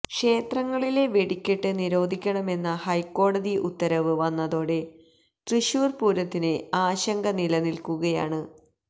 ക്ഷേത്രങ്ങളിലെ വെടിക്കെട്ട് നിരോധിക്കണമെന്ന ഹൈക്കോടതി ഉത്തരവ് വന്നതോടെ തൃശൂര് പൂരത്തിന് ആശങ്ക നിലനില്ക്കുകയാണ്